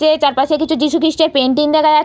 যে চারপাশে কিছু যীশুকৃষ্টের পেইন্টিং দেখা যা --